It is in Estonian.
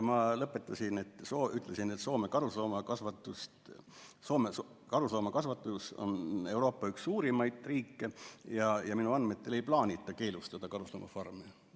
Ma ütlesin lõpetuseks, et Soome karusloomakasvatus on Euroopa riikidest üks suurimaid ja minu andmetel ei plaanita Soomes keelustada karusloomafarme.